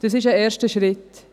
Dies ist ein erster Schritt.